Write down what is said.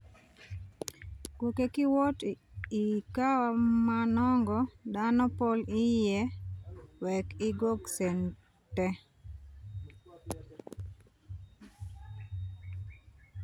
Gwokke ki wot i cawa ma nongo dano pol iye wek igwok cente.